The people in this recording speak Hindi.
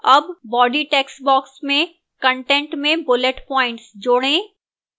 add body textbox में कंटेंट में bullet points जोड़ें